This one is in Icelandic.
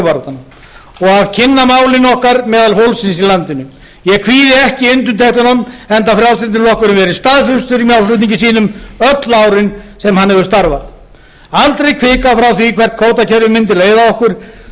og að kynna málin okkar meðal fólksins í landinu ég kvíði ekki undirtektunum enda frjálslyndi flokkurinn verið staðfastur í málflutningi sínum öll árin sem hann hefur starfað aldrei hvikað frá því hvert kvótakerfið mundi leiða okkur